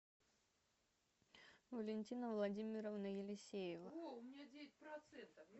валентина владимировна елисеева